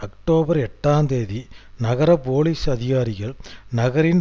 October எட்டாம் தேதி நகர போலீஸ் அதிகாரிகள் நகரின்